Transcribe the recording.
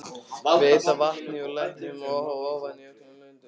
Veita vatni úr læknum ofan í öll löndin.